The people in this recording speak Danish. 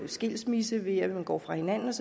skilsmisse ved at man går fra hinanden